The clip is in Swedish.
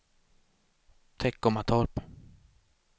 Teckomatorp